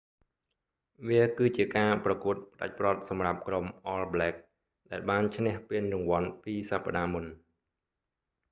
វាគឺជាការប្រកួតផ្តាច់ព្រ័ត្រសម្រាប់ក្រុម all blacks ដែលបានឈ្នះពានរង្វាន់ពីរសប្តាហ៍មុន